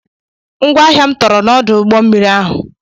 Ngwaahịa m tọrọ n'ọdụ ụgbọmmiri ahụ.